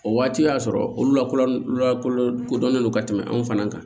O waati y'a sɔrɔ olu lakodɔn lakodɔn kodɔnnen don ka tɛmɛ anw fana kan